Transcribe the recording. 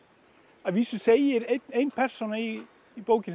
að vísu segir ein persóna í í bókinni